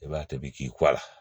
I b'a tobi k'i kɔ a la